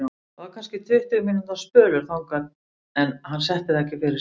Það var kannski tuttugu mínútna spölur þangað en hann setti það ekki fyrir sig.